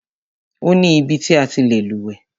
Ó ní ibi ti a ti lè lúwẹ̀ẹ́.